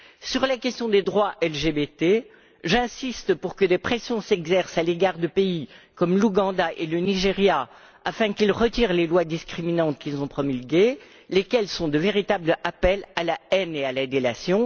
Sur les questions des droits LGBT, j'insiste pour que des pressions s'exercent à l'égard de pays comme l'Ouganda et le Nigeria, afin qu'ils retirent les lois discriminantes qu'ils ont promulguées, lesquelles sont de véritables appels à la haine et à la délation.